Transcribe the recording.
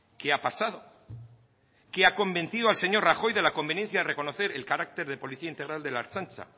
qué ha pasado qué ha convencido al señor rajoy de la conveniencia de reconocer el carácter de policía integral de la ertzaintza